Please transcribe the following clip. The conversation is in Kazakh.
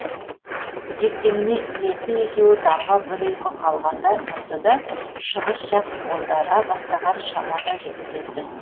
ертеңіне иесі екеуі таңға бір ұйқы қалғанда тұрды да шығыс жақ бозара бастаған шамада жүріп кетті